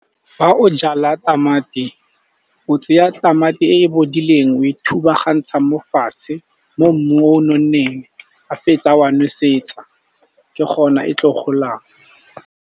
Fa o jala tamati, o tseya tamati e e bodileng, o e thubagantsha mo fatshe mo mmung o nonneng. Ga o fetsa wa nosetsa, ke gona e tlo golang.